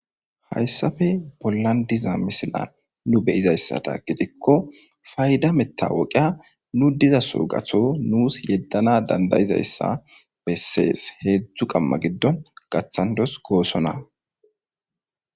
hayssafe pollandiza misilan nu beyizayssata gidikko fayda metta woqiya nu diza soogatho nuus yeddana dandayizayssa bessees heedzdzu qamma giddon gaththandos goosona